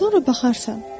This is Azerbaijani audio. Sonra baxarsan.